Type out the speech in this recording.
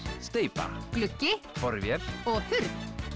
steypa gluggi borvél og hurð